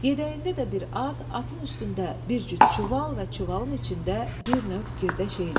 Yəyəndə də bir at, atın üstündə bir cüt çuval və çuvalın içində bir növ girdə şeylər.